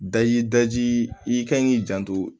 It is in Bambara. Daji daji i kan k'i janto